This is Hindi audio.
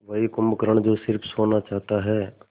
वही कुंभकर्ण जो स़िर्फ सोना चाहता है